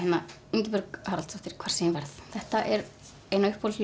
Ingibjörg Haraldsdóttir hvar sem ég verð þetta er ein af uppáhalds